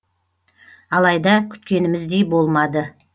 алайда күткеніміздей болмады